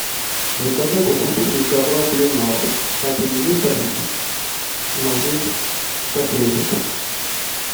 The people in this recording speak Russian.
заказать очиститель ковров ленор один литр магнит косметик